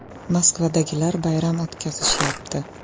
Moskvadagilar bayram o‘tkazishyapti.